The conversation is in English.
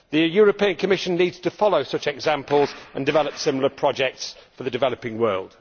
The European Commission needs to follow such examples and develop similar projects for the developing world.